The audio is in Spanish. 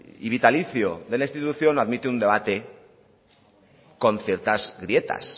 y vitalicio de la institución admite un debate con ciertas grietas